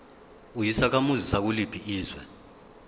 uyisakhamuzi sakuliphi izwe